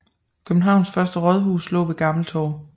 Københavns første rådhus lå ved Gammeltorv